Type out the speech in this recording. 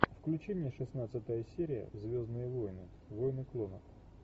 включи мне шестнадцатая серия звездные войны войны клонов